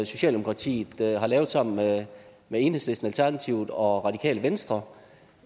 socialdemokratiet har lavet sammen med enhedslisten alternativet og radikale venstre